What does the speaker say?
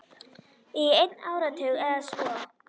Í einn áratug eða svo.